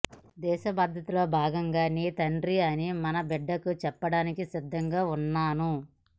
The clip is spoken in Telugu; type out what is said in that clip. దేశభద్రతలో భాగం నీ తండ్రి అని మన బిడ్డకు చెప్పడానికి సిద్ధంగా ఉన్నాను